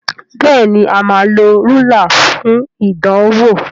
Béèni a má ló Rúlà fún ìdánwò.